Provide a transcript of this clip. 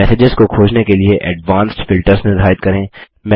messages को खोजने के लिए एडवांस्ड फिल्टर्स निर्धारित करें